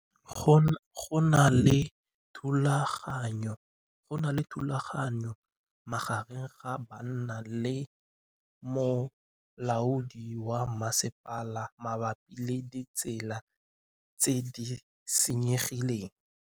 Go na le thulanô magareng ga banna le molaodi wa masepala mabapi le ditsela tse di senyegileng.